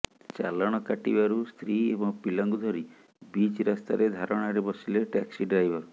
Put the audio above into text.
ଚାଲାଣ କଟିବାରୁ ସ୍ତ୍ରୀ ଏବଂ ପିଲାଙ୍କୁ ଧରି ବିଚ୍ ରାସ୍ତାରେ ଧାରଣାରେ ବସିଲେ ଟ୍ୟାକ୍ସି ଡ୍ରାଇଭର